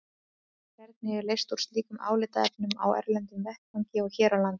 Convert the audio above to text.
Hvernig er leyst úr slíkum álitaefnum á erlendum vettvangi og hér á landi?